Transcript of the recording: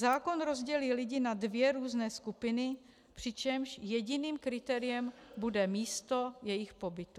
Zákon rozdělí lidi na dvě různé skupiny, přičemž jediným kritériem bude místo jejich pobytu.